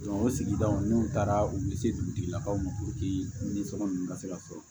o sigidaw n'u taara u bɛ se dugutigilakaw ma nisɔndu ka se ka sɔrɔ